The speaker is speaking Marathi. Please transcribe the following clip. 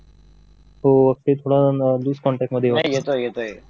तो तिथं थोडं लूज कॉन्टॅक्ट होतं